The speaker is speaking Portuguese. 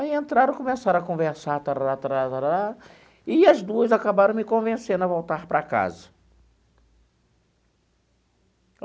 Aí entraram, começaram a conversar... E as duas acabaram me convencendo a voltar para casa.